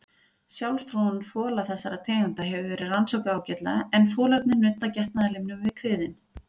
Sjálfsfróun fola þessara tegunda hefur verið rannsökuð ágætlega en folarnir nudda getnaðarlimnum við kviðinn.